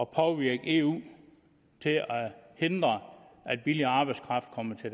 påvirke eu til at hindre at billig arbejdskraft kommer til